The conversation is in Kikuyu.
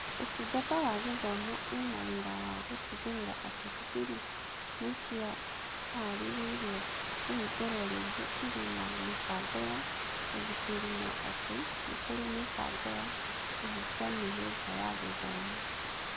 Ũtungata wa Gĩthomo ĩna wĩra wa gũtigĩrĩra atĩ cukuru nĩ ciĩharĩirie kũhingũrwo rĩngĩ irĩ na mĩbango ya ũgitĩri na atĩ nĩ kũrĩ mĩbango ya kũhingia mĩhĩnga ya gĩthomo.